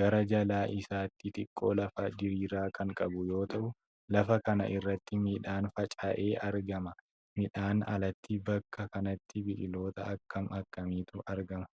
Gara jalaa isaatti xiqqoo lafa diriiraa kan qabu yoo ta'u, lafa kana irratti midhaan faca'ee argama. Midhaanii alatti bakka kanatti biqiloota akkam akkamiitu argama?